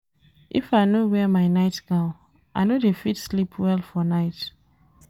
If I no wear my night-gown, I no dey fit sleep well for night.